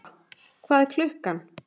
Elfa, hvað er klukkan?